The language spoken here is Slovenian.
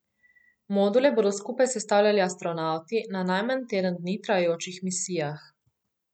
Module bodo skupaj sestavljali astronavti na najmanj teden dni trajajočih misijah.